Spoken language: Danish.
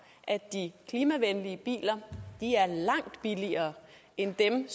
at de klimavenlige biler er langt billigere end dem